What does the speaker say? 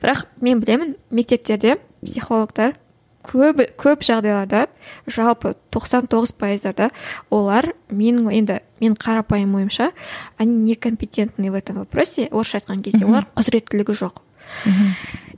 бірақ мен білемін мектептерде психологтар көбі көп жағдайларда жалпы тоқсан тоғыз пайыздарда олар менің енді менің қарапайым ойымша они не компетентны в этом вопросе орысша айтқан кезде олар құзіреттілігі жоқ мхм